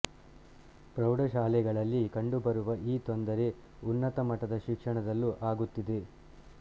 ಪ್ರೌಢಶಾಲೆಗಳಲ್ಲಿ ಕಂಡುಬರುವ ಈ ತೊಂದರೆ ಉನ್ನತ ಮಟ್ಟದ ಶಿಕ್ಷಣದಲ್ಲೂ ಆಗುತ್ತಿದೆ